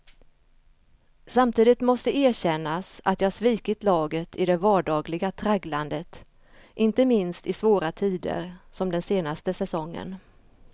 Samtidigt måste erkännas att jag svikit laget i det vardagliga tragglandet, inte minst i svåra tider som den senaste säsongen.